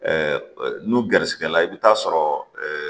n'u gɛrɛsɛgɛ la i bɛ taa sɔrɔ